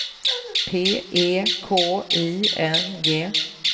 P E K I N G